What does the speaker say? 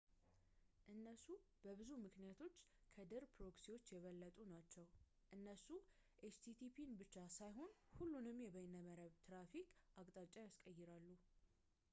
እነሱ በብዙ ምክንያቶች ከድር ፕሮክሲዎች የበለጡ ናቸው እነሱ http ን ብቻ ሳይሆን ሁሉንም የበይነመረብ ትራፊክን አቅጣጫን ያስቀይራሉ